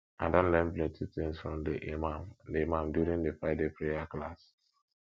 i don learn plenty things from the imam the imam during di friday prayer class